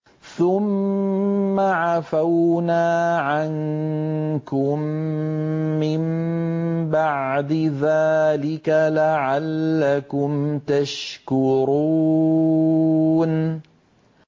ثُمَّ عَفَوْنَا عَنكُم مِّن بَعْدِ ذَٰلِكَ لَعَلَّكُمْ تَشْكُرُونَ